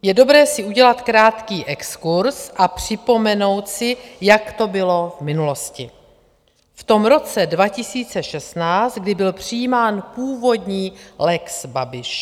Je dobré si udělat krátký exkurz a připomenout si, jak to bylo v minulosti, v tom roce 2016, kdy byl přijímán původní lex Babiš.